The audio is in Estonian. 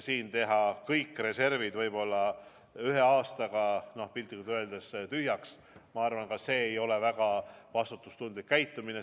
Teha kõik reservid võib-olla ühe aastaga piltlikult öeldes tühjaks – ma arvan, et see ei ole väga vastutustundlik käitumine.